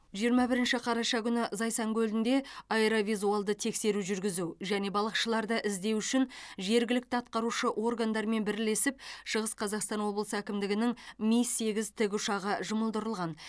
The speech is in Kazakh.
жиырма бірінші қараша күні зайсан көлінде аэровизуалды тексеру жүргізу және балықшыларды іздеу үшін жергілікті атқарушы органдармен бірлесіп шығыс қазақстан облысы әкімдігінің ми сегіз тікұшағы жұмылдырылған